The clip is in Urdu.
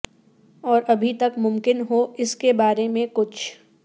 اور ابھی تک ممکن ہو اس کے بارے میں کچھ